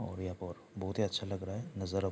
और यहाँ पर बहुत ही अच्छा लग रहा है नजारा --